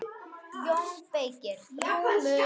JÓN BEYKIR: Rúmur!